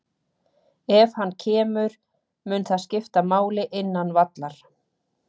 Ef hann kemur, mun það skipta máli innan vallar?